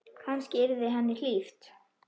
Kannski yrði henni hlíft.